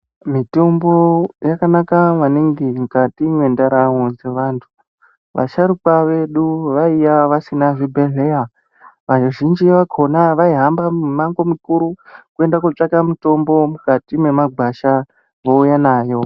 Mitombo yakanaka maningi mukati mwendaramo dzevantu. Vasharukwa vedu vaiya vasina zvibhedhleya. Vazhinji vakhona vaihamba mimango mikuru kuende kootsvake mitombo mukati mwemagwasha vouya nayo.